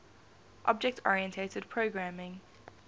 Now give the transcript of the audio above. object oriented programming